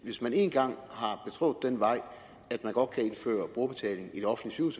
hvis man én gang har betrådt den vej at man godt kan indføre brugerbetaling i det offentlige